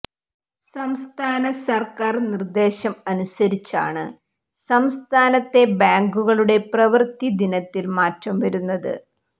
സംസ്ഥാന സർക്കാർ നിർദേശം അനുസരിച്ചാണ് സംസ്ഥാനത്തെ ബാങ്കുകളുടെ പ്രവൃത്തി ദിനത്തിൽ മാറ്റം വരുത്തുന്നത്